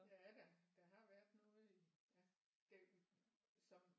Ja da der har været noget i ja det som